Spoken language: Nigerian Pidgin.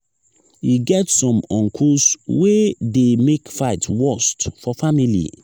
e get some uncles wey dey make fight worst for family.